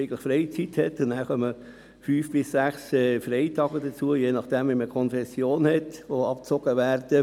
Dazu kommen je nach Konfession fünf bis sechs Freitage, die auch von den Arbeitstagen abgezogen werden.